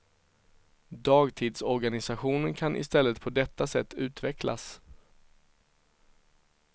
Dagtidsorganisationen kan istället på detta sätt utvecklas.